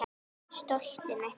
Stoltið mitt.